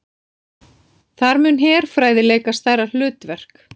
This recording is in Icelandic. Þar muni herfræði leika stærra hlutverk